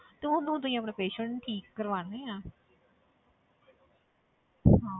ਤੁਹਾਨੂੰ ਤੁਸੀਂ ਆਪਣੇ patient ਠੀਕ ਕਰਵਾਉਨੇ ਆਂ ਹਾਂ